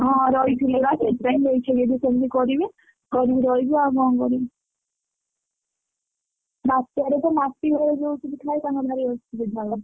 ହଁ ରହିଥିଲେ ବା ସେଇଥିପାଇଁକି ସେମିତି କରିବେ କରିକିରହିବେ ଆଉ କଣ କରିବେ ବାତ୍ୟା ରେ ତ ମାଟିଘର ଯୋଉ ସବୁ ଥାଏ ତାଙ୍କର ଭାରି ଅସୁବିଧା ହୁଏ।